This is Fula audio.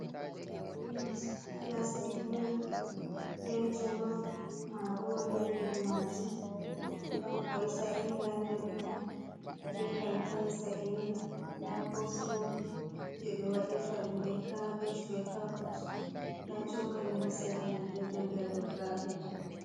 Pilet pulastic milk be jolof marori haa nder majum, don koi sa'ega haa nder mai be dankali sa'enga, nda cosulo je ɓe waɗirta ɗum be cabej be carot, nda chokali ha sera mai ɗo joɗi do kapet.